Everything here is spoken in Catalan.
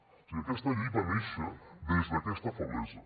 o sigui aquesta llei va néixer des d’aquesta feblesa